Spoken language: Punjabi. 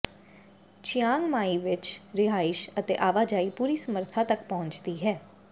ਚਿਆਂਗ ਮਾਈ ਵਿਚ ਰਿਹਾਇਸ਼ ਅਤੇ ਆਵਾਜਾਈ ਪੂਰੀ ਸਮਰੱਥਾ ਤਕ ਪਹੁੰਚਦੀ ਹੈ